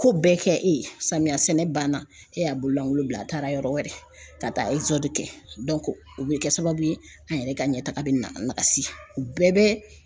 Ko bɛɛ kɛ e ye samiya sɛnɛ banna e y'a bololankolon bila a taara yɔrɔ wɛrɛ ka taa kɛ o bɛ kɛ sababu ye an yɛrɛ ka ɲɛtaga bɛ na nakasi u bɛɛ bɛ